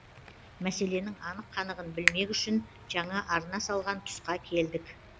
мәселенің анық қанығын білмек үшін жаңа арна салған тұсқа келдік